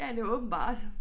Ja det var åbenbart